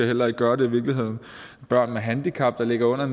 heller ikke gøre det børn med handicap der ligger under